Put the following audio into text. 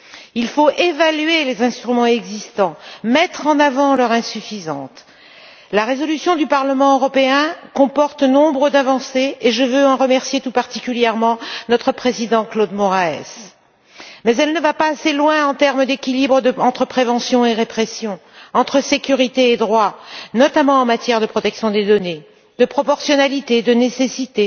Il faut évaluer les instruments existants et mettre en avant leurs insuffisances La résolution du Parlement européen comporte de nombreuses avancées, et je veux en remercier tout particulièrement notre président, Claude Moraes. Mais elle ne va pas assez loin sur le plan de l'équilibre entre prévention et répression, entre sécurité et droit, notamment en matière de protection des données, de proportionnalité, de nécessité